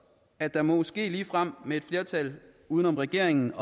at der måske ligefrem med et flertal uden om regeringen